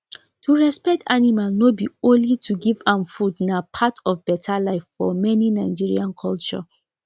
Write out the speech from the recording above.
to respect animal no be only to give am foodna part of better life for many nigerian culture